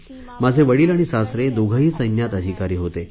माझे वडिल आणि सासरे दोघेही सैन्यात अधिकारी होते